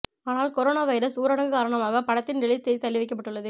ஆனால் corona virus ஊரடங்கு காரணமாக படத்தின் ரிலீஸ் தேதி தள்ளி வைக்கப்பட்டுள்ளது